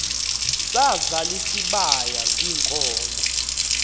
sazal isibaya ziinkomo